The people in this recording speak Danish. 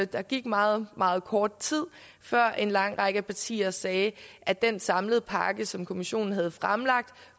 der gik meget meget kort tid før en lang række partier sagde at den samlede pakke som kommissionen havde fremlagt